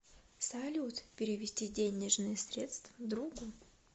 салют перевести денежные средства другу